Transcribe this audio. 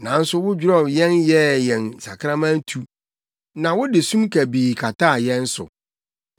Nanso wodwerɛw yɛn yɛɛ yɛn sakraman tu na wode sum kabii kataa yɛn so.